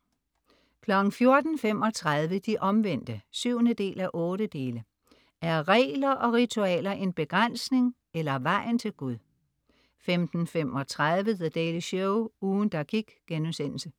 14.35 De Omvendte 7:8. Er regler og ritualer en begrænsning eller vejen til Gud? 15.35 The Daily Show, ugen der gik*